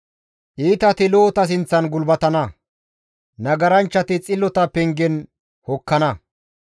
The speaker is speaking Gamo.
Iitati lo7ota sinththan gulbatana; nagaranchchati xillota pengen hokkana.